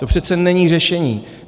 To přece není řešení.